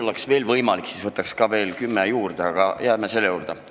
Kui oleks veel võimalik, siis võtaks veel kümme minutit juurde, aga jääme pealegi selle juurde.